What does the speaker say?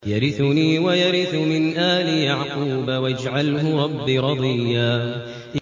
يَرِثُنِي وَيَرِثُ مِنْ آلِ يَعْقُوبَ ۖ وَاجْعَلْهُ رَبِّ رَضِيًّا